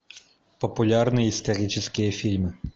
популярные исторические фильмы